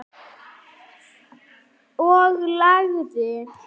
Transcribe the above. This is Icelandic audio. Og lagið?